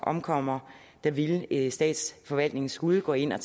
omkommer ville statsforvaltningen skulle gå ind og